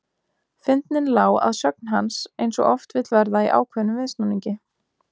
Fyndnin lá að sögn hans eins og oft vill verða í ákveðnum viðsnúningi.